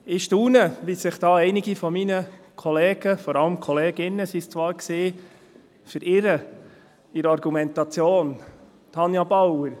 Ich staune, wie sich einige meiner Kollegen und vor allem Kolleginnen in der Argumentation verirren, Tanja Bauer.